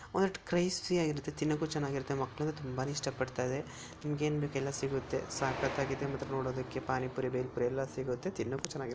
ಒಂದಷ್ಟು ಕ್ರಿಸ್ಪಿ ಆಗಿರುತ್ತೆತಿನ್ನೋಕೆ ತುಂಬಾ ಚೆನ್ನಾಗಿರುತ್ತೆ ಮಕ್ಕಳಂತೂ ತುಂಬಾನೇ ಇಷ್ಟಪಡ್ತಾರೆ ನಿಮ್ಗೆ ಏನ್ ಬೇಕು ಎಲ್ಲಾ ಸಿಗುತ್ತೆ ಸಕ್ಕತ್ತಾಗಿದೆ ಮಾತ್ರ ನೋಡೋದಕ್ಕೆ ಪಾನಿಪುರಿ ಬೇಲ್ ಪುರಿ ಎಲ್ಲ ಸಿಗುತ್ತೆ ತಿನ್ನೋಕೆ ಚೆನ್ನಾಗಿರುತ್ತೆ.